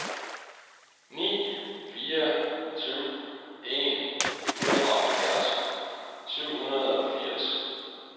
ni fire syv en femoghalvfjerds syv hundrede og firs